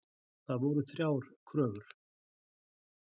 Það voru þrjár kröfur